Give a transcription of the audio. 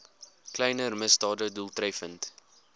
kleiner misdade doeltreffend